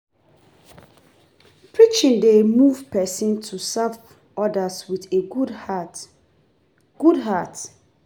Preaching dey move pesin to serve odas wit a good heart. good heart.